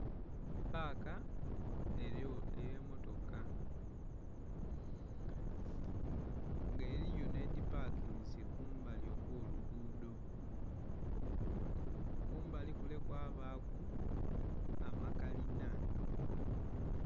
Paka erigho eye motoka nga eriyo nhe dhipakinze kumbali okwo lugudho kumbali kule kwabaku amakalina.